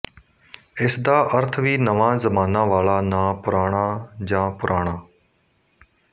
ਇਸਦਾ ਅਰਥ ਵੀ ਨਵਾਂ ਜ਼ਮਾਨਾ ਵਾਲਾ ਨਾ ਪੁਰਾਣਾ ਜਾਂ ਪੁਰਾਣਾ